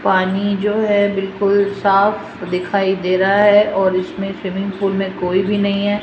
पानी जो है बिल्कुल साफ दिखाई दे रहा है और इसमें स्विमिंग पूल में कोई भी नहीं है।